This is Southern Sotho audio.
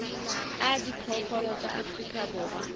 a diphoofolo tsa afrika borwa